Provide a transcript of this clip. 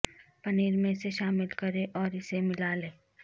پنیر میں اسے شامل کریں اور اسے ملا لیں